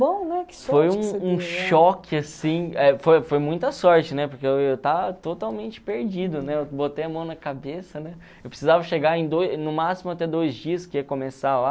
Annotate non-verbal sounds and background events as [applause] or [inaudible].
[unintelligible] foi um um choque assim é foi foi muita sorte né porque eu estava totalmente perdido né eu botei a mão na cabeça né eu precisava chegar em dois no máximo até dois dias que começar lá